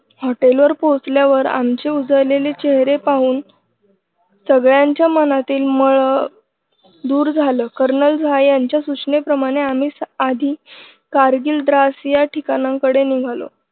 hotel वर पोचल्यावर आमचे उजळलेले चेहरे पाहून सगळ्यांच्या मनातील मळ दूर झालं कर्नल झा यांच्या सूचनेप्रमाणे आम्ही आधी कारगिल द्रास या ठिकाणांकडे निघालो.